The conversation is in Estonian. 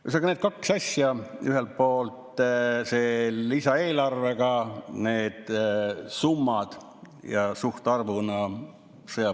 Ühesõnaga, need kaks asja, ühelt poolt lisaeelarvega sõjapõgenikele antavad summad ja siis suhtarvud.